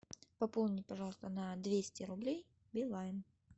пополни пожалуйста на двести рублей билайн